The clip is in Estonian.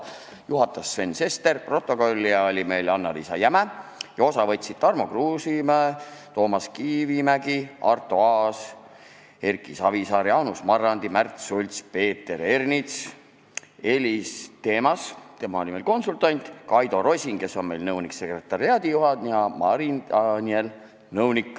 Juhatas Sven Sester, protokollija oli Annaliisa Jäme ja osa võtsid Tarmo Kruusimäe, Toomas Kivimägi, Arto Aas, Erki Savisaar, Jaanus Marrandi, Märt Sults, Peeter Ernits, Elis Themas , Kaido Rosin ja Marin Daniel .